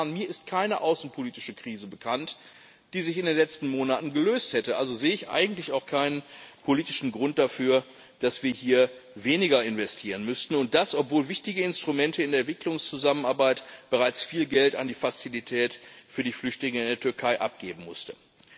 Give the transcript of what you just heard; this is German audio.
Mir ist keine außenpolitische Krise bekannt, die sich in den letzten Monaten gelöst hätte, also sehe ich eigentlich auch keinen politischen Grund dafür, dass wir hier weniger investieren müssten, und das, obwohl wichtige Instrumente in der Entwicklungszusammenarbeit bereits viel Geld an die Fazilität für die Flüchtlinge in der Türkei abgeben mussten.